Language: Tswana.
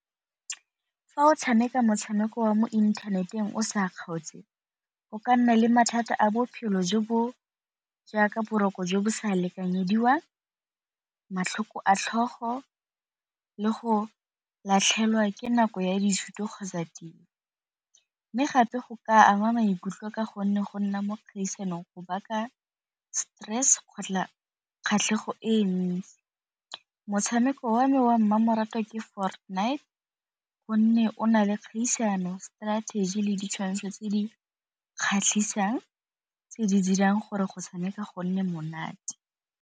Fa o tshameka motshameko wa mo inthaneteng o sa kgaotse go ka nna le mathata a bophelo jo bo jaaka boroko jo bo sa lekanyediwang, matlhoko a tlhogo le go latlhegelwa ke nako ya dithuto kgotsa tiro. Mme gape go ka ama maikutlo ka gonne go nna mo dikgaisanong go baka stress kgatlhego e ntsi. Motshameko wa me wa mmamoratwa ke wa Fortnight gonne o na le kgaisano, strategy le ditshwantsho tse di kgatlhisang tse di dirang gore go tshameka go nne monate.